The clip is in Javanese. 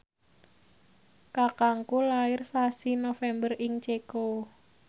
kakangku lair sasi November ing Ceko